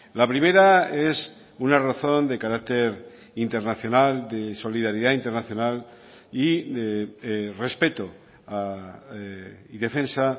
la primera es una razón de carácter internacional de solidaridad internacional y de respeto y defensa